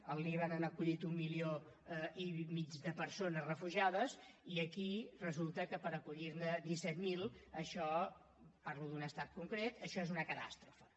al líban han acollit un milió i mig de persones refugiades i aquí resulta que per acollir ne disset mil parlo d’un estat concret això és una catàstrofe